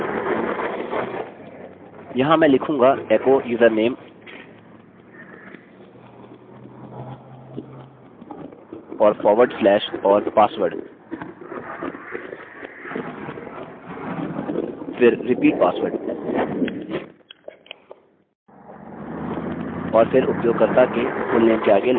यहाँ मैं लिखूँगा एको username और forward slash और password फिर repeat password और फिर उपयोगकर्ता के fullname के आगे लाइन टर्मिनेटर